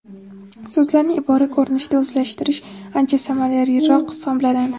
So‘zlarni ibora ko‘rinishida o‘zlashtirish ancha samaraliroq hisoblanadi.